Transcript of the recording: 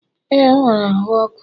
ee, o nwere ahu ọkụ